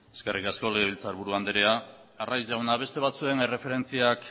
eskerrik asko legebiltzar buru anderea arraiz jauna beste batzuen erreferentziak